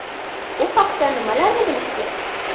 U haqda nimalarni bilish kerak?